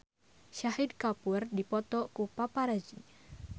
Shahid Kapoor dipoto ku paparazi